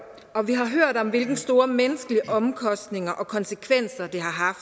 og vi har hørt om hvilke store menneskelige omkostninger og konsekvenser det har